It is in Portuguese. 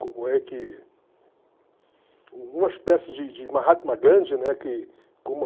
Como é que... U uma espécie de de Mahatma Gandhi, né que